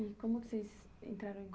E como que entraram em